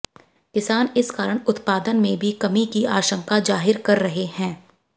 किसान इस कारण उत्पादन में भी कमी की आशंका जाहिर कर रहे हैं